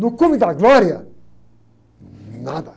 No cume da glória, nada.